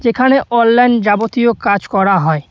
এখানে অনলাইন যাবতীয় কাজ করা হয়।